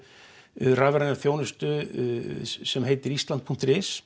rafræna þjónustu sem heitir islands punktur is